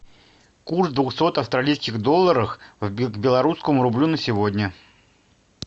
курс двухсот австралийских долларов к белорусскому рублю на сегодня